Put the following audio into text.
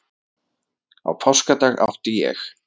Á páskadag átti ég